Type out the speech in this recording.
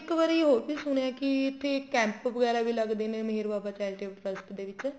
ਇੱਕ ਵਾਰੀ ਹੋਰ ਵੀ ਸੁਣਿਆ ਹੈ ਕੀ ਇੱਥੇ camp ਵਗੈਰਾ ਵੀ ਲੱਗਦੇ ਨੇ ਮੇਹਰ ਬਾਬਾ charitable ਦੇ trust ਦੇ ਵਿੱਚ